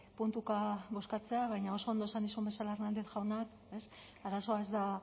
puntuka bozkatzea baina oso ondo esan dizun bezala hernández jaunak arazoa ez da